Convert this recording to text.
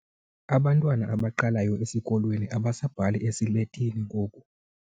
Abantwana abaqalayo esikolweni abasabhali esiletini ngoku.